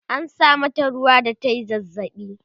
an sa mata ruwa da tayi zazzabi